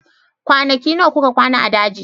Kwanaki nawa kuka kwana a daji?